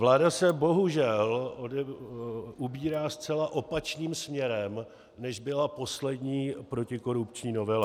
Vláda se bohužel ubírá zcela opačným směrem, než byla poslední protikorupční novela.